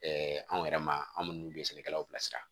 anw yɛrɛ ma an minnu bɛ sɛnɛkɛlaw bilasira